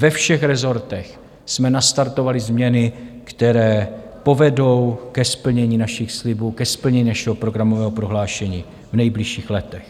Ve všech resortech jsme nastartovali změny, které povedou ke splnění našich slibů, ke splnění našeho programového prohlášení, v nejbližších letech.